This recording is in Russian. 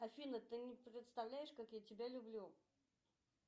афина ты не представляешь как я тебя люблю